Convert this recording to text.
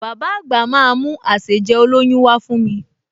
Bàbá àgbà máa mú àsèjẹ olóyún wá fún mi